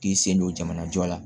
K'i sen don jamana jɔ la